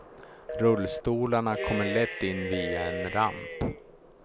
Rullstolarna kommer lätt in via en ramp.